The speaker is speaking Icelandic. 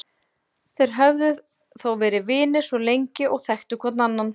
Þeir höfðu þó verið vinir svo lengi og þekktu hvor annan.